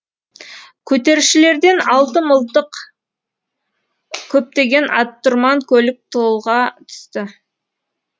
көтерілісшілерден алты мылтық көптеген аттұрман көлік толға түсті